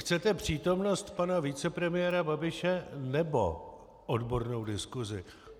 Chcete přítomnost pana vicepremiéra Babiše, nebo odbornou diskusi?